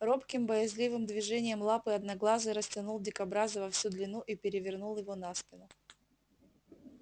робким боязливым движением лапы одноглазый растянул дикобраза во всю длину и перевернул его на спину